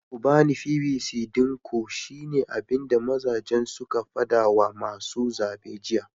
Ku bani pvc din ku shine abinda mazajen suka fada wa masu zabe jiya